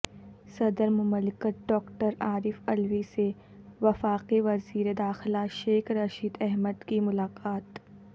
صدر مملکت ڈاکٹر عارف علوی سے وفاقی وزیر داخلہ شیخ رشید احمد کی ملاقات